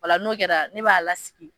Ola n'o kera ne b'a kasi n'o kɛra ne b'a lasigi